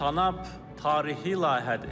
Tanap tarixi layihədir.